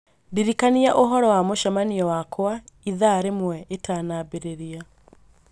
Ndirikania ũhoro wa mũcemanio wakwa ithaa rĩmwe ĩtanambĩrĩria.